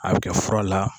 A bɛ kɛ fura la